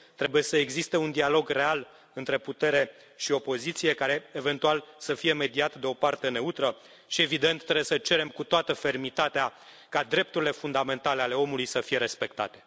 Trebuie să existe un dialog real între putere și opoziție, care, eventual, să fie mediat de o parte neutră și, evident, trebuie să cerem cu toată fermitatea ca drepturile fundamentale ale omului să fie respectate.